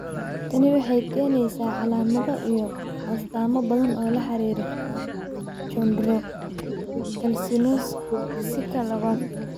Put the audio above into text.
Tani waxay keenaysaa calaamado iyo astaamo badan oo la xidhiidha chondrocalcinosika labad.